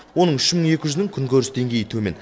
оның үш мың екі жүзінің күнкөріс деңгейі төмен